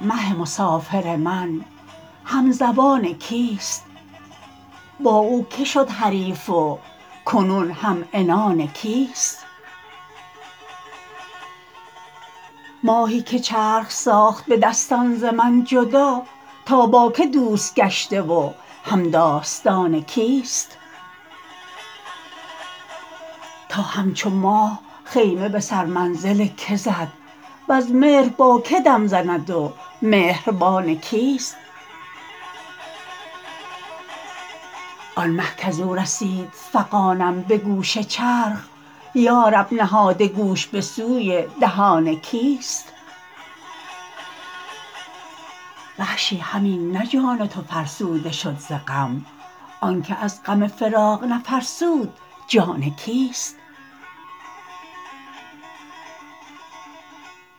مه مسافر من همزبان کیست با او که شد حریف و کنون همعنان کیست ماهی که چرخ ساخت به دستان ز من جدا تا با که دوست گشته و همداستان کیست تا همچو ماه خیمه به سر منزل که زد وز مهر با که دم زند و مهربان کیست آن مه کزو رسید فغانم به گوش چرخ یارب نهاده گوش به سوی دهان کیست وحشی همین نه جان تو فرسوده شد ز غم آنک از غم فراق نفرسود جان کیست